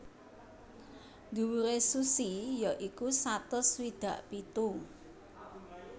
Dhuwure Suzy ya iku satus swidak pitu